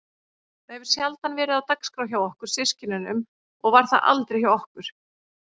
Það hefur sjaldan verið á dagskrá hjá okkur systkinunum og var það aldrei hjá okkur